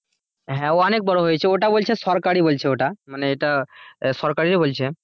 হ্যাঁ অনেক বড় হয়েছে ওটা বলছে সরকারি বলছে ওটা মানে এটা সরকারেরই বলছে।